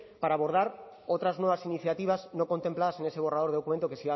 para abordar otras nuevas iniciativas no contempladas en ese borrador de documento que